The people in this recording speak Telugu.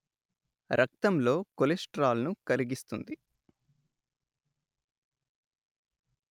రక్తంలో కొలెస్టిరాల్ ను కరిగిస్తుంది